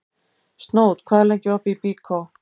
Snót, hvað er lengi opið í Byko?